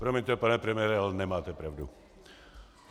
Promiňte, pane premiére, ale nemáte pravdu.